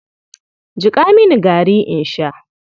Jiƙa mini gari in sha.